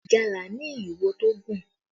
Ìgalà ni ìwo tó gùn